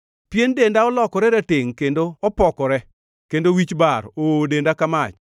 Pien denda olokore ratengʼ kendo opokore; kendo wich bar oowo denda ka mach.